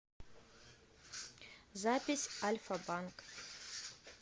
запись альфа банк